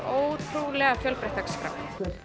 ótrúlega fjölbreytt dagskrá